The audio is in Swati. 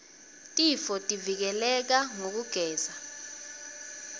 tifotivike leka ngekugeza